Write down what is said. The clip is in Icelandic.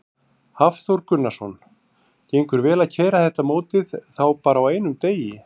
Hafþór Gunnarsson: Gengur vel að keyra þetta mótið þá bara á einum degi?